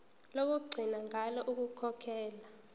lokugcina ngalo ukukhokhela